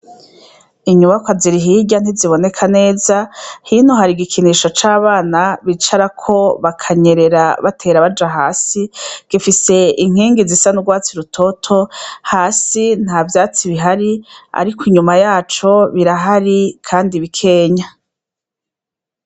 Inyubakwa ziri hiraya ntiziboneka neza hino hari igikinisho cabana bakinirako bakanyerera batera baja hasi gifise inkigi zisa nurwatsi rutoto hasi ntavyatsi bihari ariko inyuma yaco birahari kandi bikenya